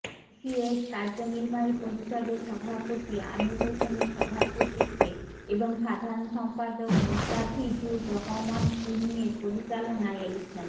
ECS কার্যনির্বাহী পরিষদের সভাপতি আমির হোসেনের সভাপতিত্বে এবং সাধারন সম্পাদক মোস্তাাফিজুর রহমান তুহিনের পরিচালনায় এলিফ্যান্ট